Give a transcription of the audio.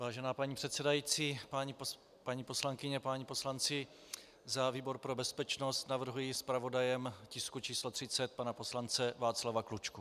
Vážená paní předsedající, paní poslankyně, páni poslanci, za výbor pro bezpečnost navrhuji zpravodajem tisku číslo 30 pana poslance Václava Klučku.